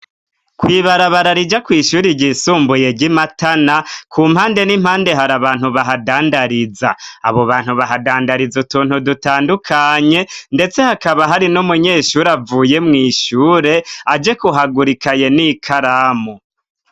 Kw'ibarabara rija kw' ishuri ryisumbuye ry'i Matana, ku mpande n'impande hari abantu bahadandariza. Abo bantu bahadandariza utuntu dutandukanye, ndetse hakaba hari n'umunyeshuri avuye mw' ishure aje kuhagura ikaye n'ikaramu.